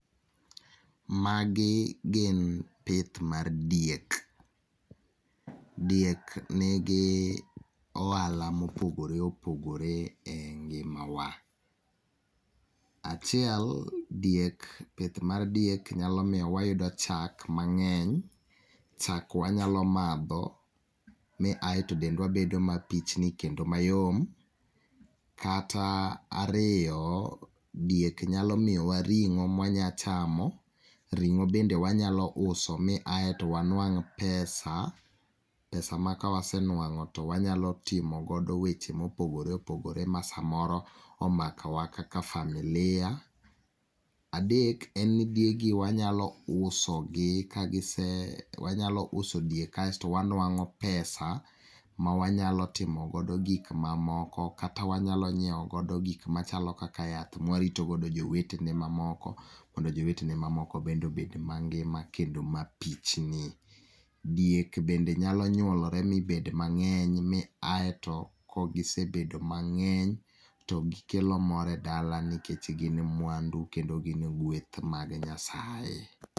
Magi gin pith mar diek. Diek nigi ohala mopogore opogore e ngima wa. Achiel, diek pith mar diek nyalo miyo wayudo chak mang'eny. Chak wanyalo madho mi aeto dendwa bedo mapichni kendo mayom. Kata ariyo, diek nyalo miyowa ring'o mwanya chamo, ring'o bende wanyalo uso mi aeto wanuang' pesa , pesa ma kawasenuang'o to wanyalo timo godo weche mopogore opogore, ma samoro omakowa kaka familia. Adek en ni diegi wanyalo usogi ka gise wanyalo uso diek kasto wanuang'o pesa ma wanyalo timo godo gik mamoko, kata wanyalo ng'iewo godo gik machalo kaka yath ma warito godo jowetene mamoko mondo jowetene mamoko bende obed mangima kendo mapichni. Diek bende nyalo nyuolore mi bed mang'eny kaeto, kagisebedo mang'eny to gikelo mor edala nikech gin mwandu kendo gin gweth mag Nyasaye.